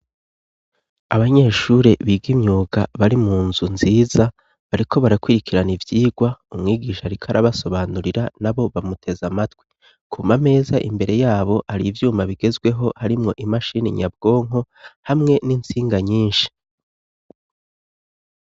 Abanyeshure biga imyuga bari mu nzu nziza, bariko barakwirikirana ivyigwa umwigisha ariko arabasobanurira n'abo bamuteze amatwi. Ku ma meza imbere y'abo har'ivyuma bigezweho, harimwo imashini nyabwonko hamwe n'intsinga nyinshi.